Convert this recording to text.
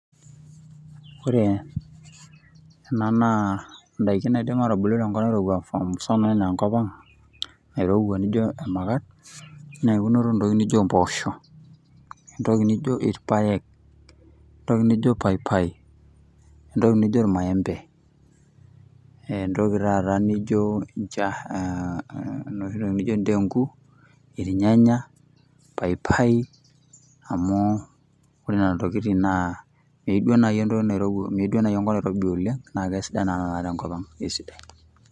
Ore ena naa idaikin naidim aatubulu te nkop naairowua sanisana anaa enkop ang, naairowua naijo emakat, naa eunoto oo ntokitin naijo mpoosho. entoki nijo, ilpaek, entoki nijo paipai. entoki nijo ilmaembe, entoki taata nijo inteenku, ilnyanya, paipai, amu ore Nena tokitin meyieu enkop nairobi oleng, naa kesidai naa tenkop ang'